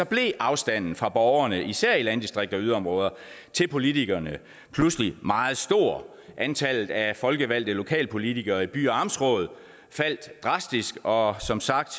blev afstanden fra borgerne især i landdistrikter og yderområder til politikerne pludselig meget stor antallet af folkevalgte lokalpolitikere i by og amtsråd faldt drastisk og som sagt